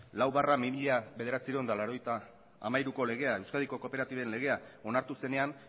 lau barra bi mila bederatziehun eta laurogeita hamairuko legea euskadiko kooperatiben legea onartu zenean